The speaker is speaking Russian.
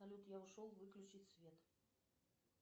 салют я ушел выключить свет